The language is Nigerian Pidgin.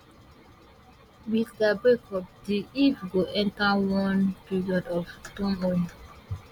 wit dia breakup di eff go enta one period of turmoil